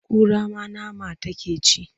Kura ma nama take ci?